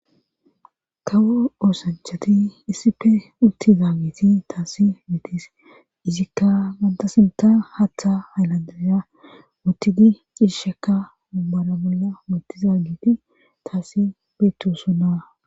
kawo oosanchati issife utti zaa giti taasi mitis izikka ganta sinta haatha hayllandaza muttidi ciishekka mummara bolla muttiza giti taasi beettosona